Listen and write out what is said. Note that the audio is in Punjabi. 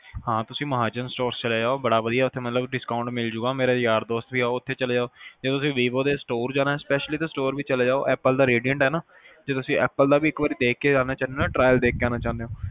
ਹਾਂ ਤੁਸੀਂ ਮਹਾਜਨ stores ਚਲੇ ਜਾਓ ਬੜਾ ਵਧੀਆ ਉਥੇ discount ਮਿਲ ਜਾਊਗਾ ਮੇਰਾ ਯਾਰ ਦੋਸਤ ਵੀ ਆ ਤੁਸੀਂ ਉਥੇ ਚਲੇ ਜਾਓ ਜੇ ਤੁਸੀਂ vivo ਦੇ store ਜਾਣਾ specially store ਵੀ ਚਲੇ ਜਾਓ ਜੇ ਤੁਸੀਂ apple ਦਾ redient ਜੇ ਤੁਸੀਂ apple ਵੀ ਇਕ ਵਾਰ ਦੇਖ ਕੇ ਆਣਾ ਚਾਹੰਦੇ ਹੋ trial ਦੇਖ ਕੇ ਆਣਾ ਚਾਹੰਦੇ ਹੋ